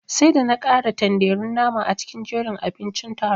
Sai da na kara tanderun nama a cikin jerin abincin taron.